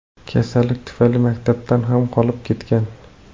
Kasalligi tufayli maktabdan ham qolib ketgan.